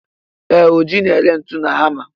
Ee, Ọji na-ere ntu na hama.